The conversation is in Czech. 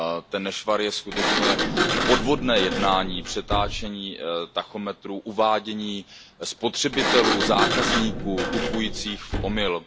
Ten nešvar je skutečně podvodné jednání přetáčení tachometru, uvádění spotřebitelů, zákazníků, kupujících v omyl.